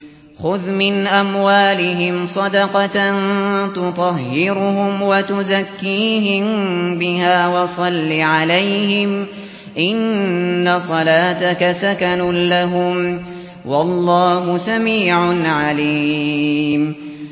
خُذْ مِنْ أَمْوَالِهِمْ صَدَقَةً تُطَهِّرُهُمْ وَتُزَكِّيهِم بِهَا وَصَلِّ عَلَيْهِمْ ۖ إِنَّ صَلَاتَكَ سَكَنٌ لَّهُمْ ۗ وَاللَّهُ سَمِيعٌ عَلِيمٌ